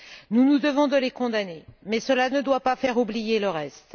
Nous nous devons de les condamner, mais cela ne doit pas faire oublier le reste.